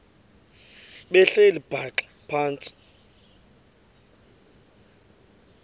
behleli bhaxa phantsi